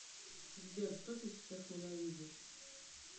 сбер что ты сейчас ненавидишь